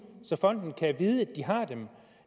så fonden kan vide at de har dem